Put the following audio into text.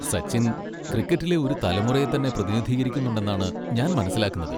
സച്ചിൻ ക്രിക്കറ്റിലെ ഒരു തലമുറയെ തന്നെ പ്രതിനിധീകരിക്കുന്നുണ്ടെന്നാണ് ഞാൻ മനസ്സിലാക്കുന്നത്.